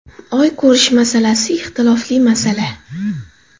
Oy ko‘rish masalasi ixtilofli masala.